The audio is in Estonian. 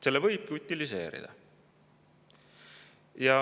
Selle võibki utiliseerida.